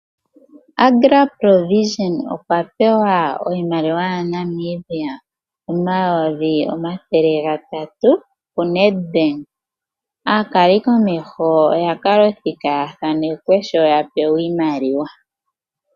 AgraProvision okwa pewa iimaliwa yaNamibia omayovi omathele gatatu kuNEDBANK, aakalikomeho oyakala othika yathaanekwe sho taya pewa iimaliwa.